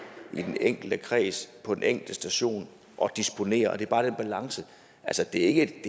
i den enkelte kreds på den enkelte station og disponere det er bare den balance altså det er ikke